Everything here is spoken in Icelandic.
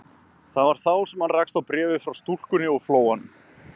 Það var þá sem hann rakst á bréfið frá stúlkunni úr Flóanum.